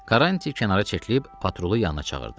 Karranti kənara çəkilib patrulun yanına çağırdı.